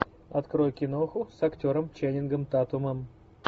открой киноху с актером ченнингом татумом